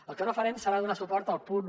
el que no farem serà donar suport al punt un